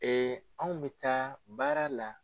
Ee anw bɛ taa baara la.